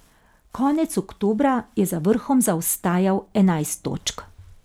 Konec oktobra je za vrhom zaostajal enajst točk.